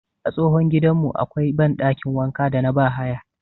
A tsohon gidanmu akwai banɗakin wanka da na bahaya